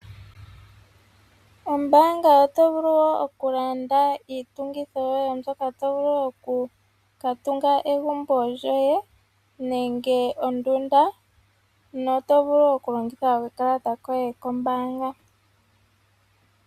Ombaanga oto vulu wo okulanda iitungithi yoye mbyoka to vulu okukatungitha egumbo lyoye nenge ondunda no to vulu okulongitha okakalata koye kombaanga.